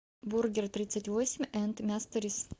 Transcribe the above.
бургертридцатьвосемь энд мясторис